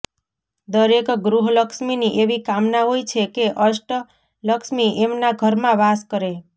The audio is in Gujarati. દરેક ગૃહલક્ષ્મીની એવી કામના હોય છે કે અષ્ટલક્ષ્મી એમના ઘરમાં વાસ કરે